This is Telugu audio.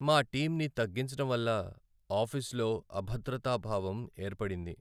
మా టీంని తగ్గించడం వల్ల ఆఫీసులో అభద్రతా భావం ఏర్పడింది.